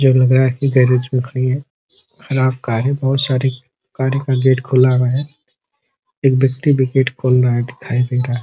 जो लग रहा है गैरेज पर खड़ी है खराब कार है। बहोत सारी गाड़ी का गेट खुला हुआ है। एक व्यक्ति भी गेट खोल रहा है दिखाई दे रहा है।